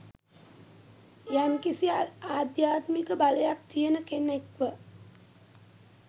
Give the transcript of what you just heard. යම්කිසි “ආධ්‍යාත්මික බලයක්” තියන කෙනෙක්ව..